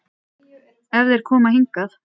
Ef þeir koma hingað.